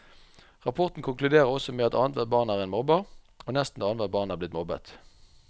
Rapporten konkluderer også med at annethvert barn er en mobber, og nesten annethvert barn er blitt mobbet.